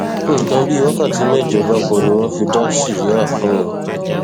nǹkan bíi wákàtí mẹjọ gbáko ni wọn fi dá síríà fún un